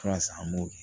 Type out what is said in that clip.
Ala sa an m'o kɛ